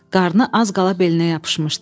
Qarnı az qala belinə yapışmışdı.